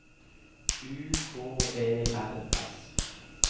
U K E R S